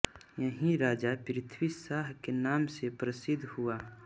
यही राजा पृथ्वीशाह के नाम से प्रसिद्ध हुआ